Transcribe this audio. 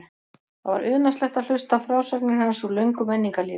Það var unaðslegt að hlusta á frásagnir hans úr löngu menningarlífi.